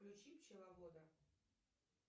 включи пчеловода